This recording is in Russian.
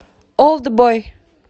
олдбой